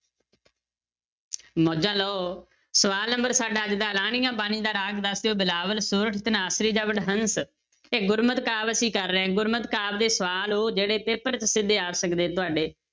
ਮੌਜਾਂ ਲਓ, ਸਵਾਲ number ਸਾਡਾ ਅੱਜ ਦਾ ਆਲਾਣੀਆ ਬਾਣੀ ਦਾ ਰਾਗ ਦੱਸ ਦਿਓ ਬਿਲਾਵਲ, ਸੋਰਠ, ਧਨਾਸਰੀ ਜਾਂ ਵਡਹੰਸ, ਇਹ ਗੁਰਮਤਿ ਕਾਵਿ ਅਸੀਂ ਕਰ ਰਹੇ ਹਾਂ ਗੁਰਮਤ ਕਾਵਿ ਦੇ ਸਵਾਲ ਉਹ ਜਿਹੜੇ paper 'ਚ ਸਿੱਧੇ ਆ ਸਕਦੇ ਤੁਹਾਡੇ